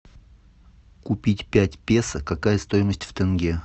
купить пять песо какая стоимость в тенге